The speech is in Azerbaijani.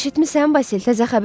Eşitmisən, Basil, təzə xəbər var.